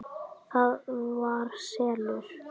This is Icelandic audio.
ÞAÐ VAR SELUR!